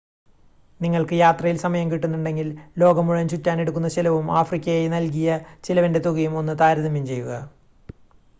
നിങ്ങൾക്ക് യാത്രയിൽ സമയം കിട്ടുന്നുണ്ടെങ്കിൽ ലോകം മുഴുവൻ ചുറ്റാനെടുക്കുന്ന ചിലവും ആഫ്രിക്കക്കായി നൽകിയ ചിലവിൻ്റെ തുകയും ഒന്ന് താരതമ്യം ചെയ്യുക